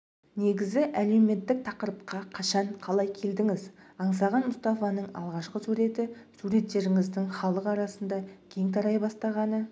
негізі әлеуметтік тақырыпқа қашан қалай келдіңіз аңсаған мұстафаның алғашқы суреті суреттеріңіздің халық арасында кең тарай бастағаны